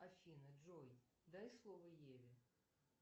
афина джой дай слово еве